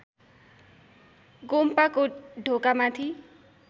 गोम्पाको ढोका माथि